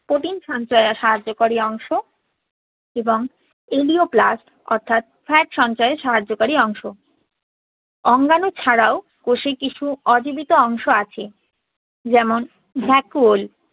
protein সঞ্চয়ে সাহায্যকারী অংশ এবং elaioplast অর্থাৎ fat সঞ্চয়ে সাহায্যকারী অংশ। অঙ্গাণু ছাড়াও কোষে কিছু অজীবিত অংশ আছে। যেমন vacuole